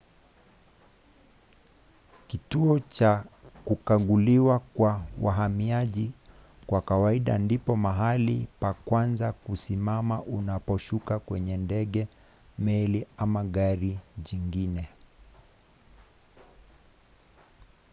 kituo cha kukaguliwa kwa wahamiaji kwa kawaida ndipo mahali pa kwanza kusimama unaposhuka kwenye ndege meli ama gari jingine